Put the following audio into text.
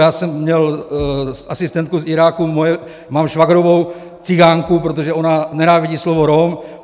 Já jsem měl asistentku z Iráku, mám švagrovou cikánku, protože ona nenávidí slovo Rom.